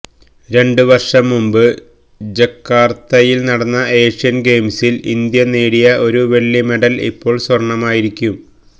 രണ്ടു വര്ഷം മുന്പ് ജക്കാര്ത്തയില് നടന്ന ഏഷ്യന് ഗെയിംസില് ഇന്ത്യ നേടിയ ഒരു വെള്ളി മെഡല് ഇപ്പോള് സ്വര്ണമായിരിക്കും